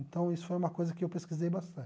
Então, isso foi uma coisa que eu pesquisei bastante.